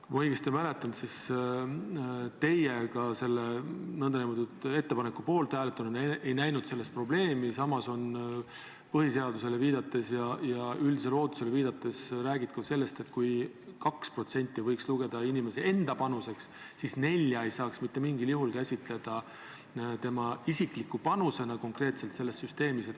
Kui ma õigesti mäletan, siis teie kui selle ettepaneku poolt hääletanu ei näinud selles probleemi, samas on põhiseadusele ja üldisele ootusele viidates räägitud sellest, et kuigi 2% võiks lugeda inimese enda panuseks, siis 4% ei saaks mitte mingil juhul käsitleda selles süsteemis tema isikliku panusena.